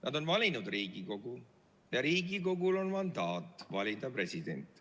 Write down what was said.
Nad on valinud Riigikogu ja Riigikogul on mandaat valida president.